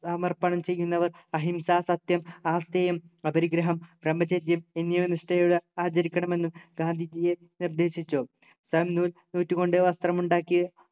സമർപ്പണം ചെയ്യുന്നവർ അഹിംസ സത്യം ആസ്തേയം അപരിഗ്രഹം ബ്രഹ്മചര്യം എന്നിവ നിഷ്ഠയോടെ ആചരിക്കണമെന്നും ഗാന്ധിജിയെ നിർദേശിച്ചു താൻ നൂൽ നൂറ്റു കൊണ്ട് വസ്ത്രം ഉണ്ടാക്കി